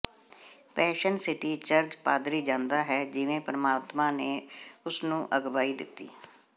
passion city church ਪਾਦਰੀ ਜਾਂਦਾ ਹੈ ਜਿਵੇਂ ਪਰਮਾਤਮਾ ਨੇ ਉਸਨੂੰ ਅਗਵਾਈ ਦਿੱਤੀ